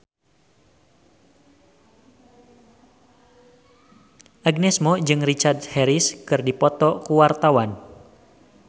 Agnes Mo jeung Richard Harris keur dipoto ku wartawan